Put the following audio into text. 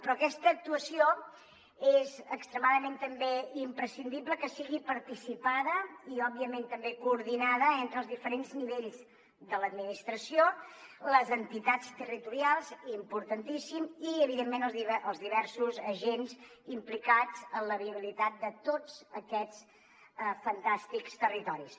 però aquesta actuació és extremadament també imprescindible que sigui participada i òbviament també coordinada entre els diferents nivells de l’administració les entitats territorials importantíssim i evidentment els diversos agents implicats en la viabilitat de tots aquests fantàstics territoris